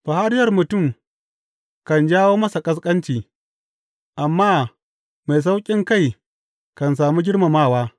Fariyar mutum kan jawo masa ƙasƙanci amma mai sauƙinkai kan sami girmamawa.